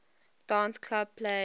dance club play